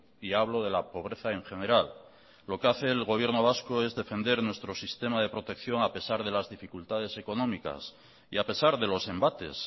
y hablo de la pobreza en general lo que hace el gobierno vasco es defender nuestro sistema de protección a pesar de las dificultades económicas y a pesar de los embates